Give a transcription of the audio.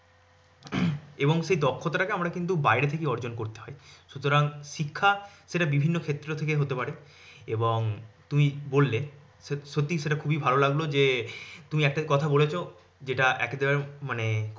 এবং সেই দক্ষতাটাকে আমরা কিন্তু বাইরে থেকে অর্জন করি। সুতরাং শিক্ষাতা বিভিন্ন ক্ষেত্র থেকেই হতে পারে। এবং তুমি বললে সত্যি সেটা খুবই ভালো লাগলো যে তুমি একটা কথা বলেছ যে একদম মানে